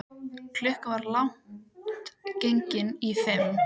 Klukkan var langt gengin í fimm.